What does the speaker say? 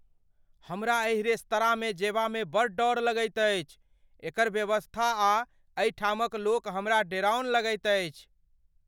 हमरा एहि रेस्तराँमे जयबामे बड़ डर लगैत अछि। एकर व्यवस्था आ एहिठामक लोक हमरा डेराउन लगैत अछि ।